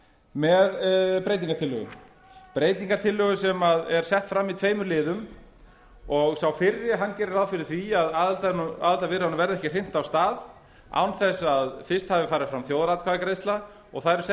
með breytingartillögu breytingartillögu sem er sett fram í tveimur liðum og sá fyrri gerir ráð fyrir því að aðildarviðræðunum verði ekki hrint af stað án þess að fyrst hafi farið fram þjóðaratkvæðagreiðsla og það eru sett